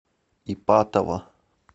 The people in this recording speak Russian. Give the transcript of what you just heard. ипатово